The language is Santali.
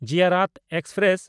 ᱡᱤᱭᱟᱨᱟᱛ ᱮᱠᱥᱯᱨᱮᱥ